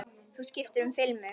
Þú skiptir um filmu!